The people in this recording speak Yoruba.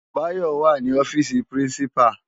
Bayo wá ni òfisi pirinsipá